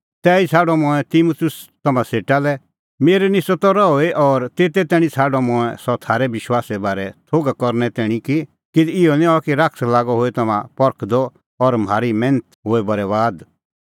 तैही छ़ाडअ मंऐं तिमुतुस तम्हां सेटा लै मेरै निस्सअ त रहूई और तेते तैणीं छ़ाडअ मंऐं सह थारै विश्वासे बारै थोघ करने तैणीं कि किधी इहअ निं हआ कि शैतान लागअ होए तम्हां परखदअ और म्हारी मैन्थ हुई होए बरैबाद